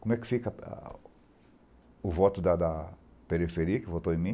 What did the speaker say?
Como é que fica o voto da da periferia que votou em mim?